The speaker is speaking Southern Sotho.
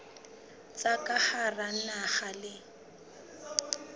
tsa ka hara naha le